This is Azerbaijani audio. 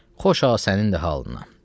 Xoşa sənin də halına.